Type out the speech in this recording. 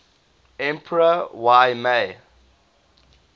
emperor y mei